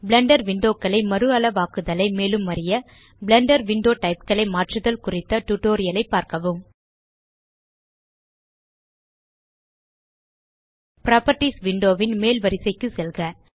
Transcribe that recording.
Blender window களை மறுஅளவாக்குதலை மேலும் அறிய பிளெண்டர் விண்டோ டைப் களை மாற்றுதல் குறித்த டியூட்டோரியல் ஐ பார்க்கவும் புராப்பர்ட்டீஸ் விண்டோ ன் மேல் வரிசைக்கு செல்க